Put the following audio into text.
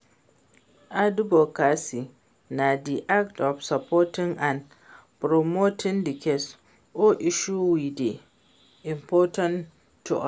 Advocacy na di act of supporting and promoting di cause or issue wey dey important to us.